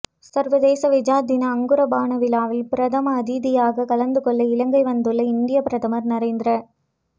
சர்வதேச வெசாக் தின அங்குரார்ப்பண விழாவில் பிரதம அதிதியாகக் கலந்து கொள்ள இலங்கை வந்துள்ள இந்தியப் பிரதமர் நரேந்திர